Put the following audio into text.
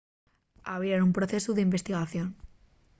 abrieran un procesu d'investigación